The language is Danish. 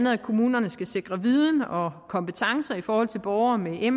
at kommunerne skal sikre viden og kompetencer i forhold til borgere med me